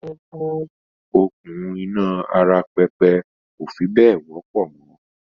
“Okùn iná ara pẹpẹ kò fi bẹ́ẹ̀ wọ́pọ̀ mọ